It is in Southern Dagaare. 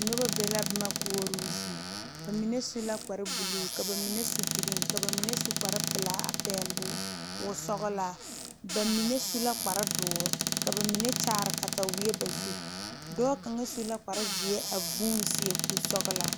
Noba be la boma koɔrɔ zie bamine yeere la kpare geri kpare pelaa a pegle woɔ sɔglaa bamine su la kpare doɔre ka bamine kyaare katawiɛ ba zu dɔɔ kaŋa su la kpare ziɛ a vuune seɛ kuri sɔglaa.